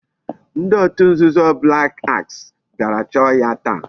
Ndi otu nzuzo black axe biara choo ya taa